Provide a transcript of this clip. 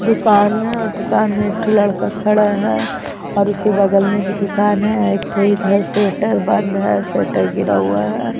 दुकान है और दुकान में एठो लड़का खड़ा है और उसके बगल में भी दुकान है अ एकठो सेटर बंद है सेटर गिरा हुआ हैं।